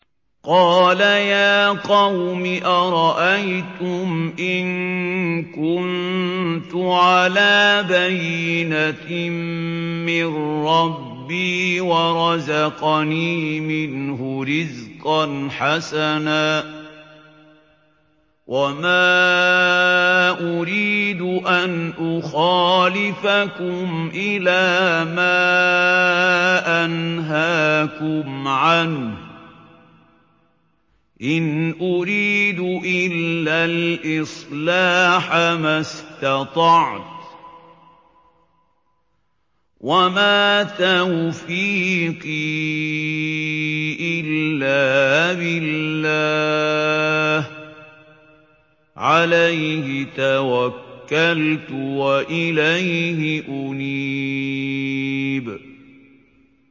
قَالَ يَا قَوْمِ أَرَأَيْتُمْ إِن كُنتُ عَلَىٰ بَيِّنَةٍ مِّن رَّبِّي وَرَزَقَنِي مِنْهُ رِزْقًا حَسَنًا ۚ وَمَا أُرِيدُ أَنْ أُخَالِفَكُمْ إِلَىٰ مَا أَنْهَاكُمْ عَنْهُ ۚ إِنْ أُرِيدُ إِلَّا الْإِصْلَاحَ مَا اسْتَطَعْتُ ۚ وَمَا تَوْفِيقِي إِلَّا بِاللَّهِ ۚ عَلَيْهِ تَوَكَّلْتُ وَإِلَيْهِ أُنِيبُ